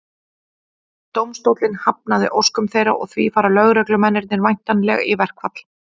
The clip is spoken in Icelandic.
Dómstóllinn hafnaði óskum þeirra og því fara lögreglumennirnir væntanlega í verkfall.